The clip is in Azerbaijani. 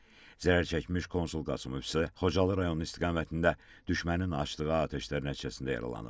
Zərər çəkmiş Konsul Qasımov isə Xocalı rayonu istiqamətində düşmənin açdığı atəşlər nəticəsində yaralanıb.